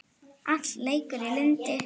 Allt leikur í lyndi.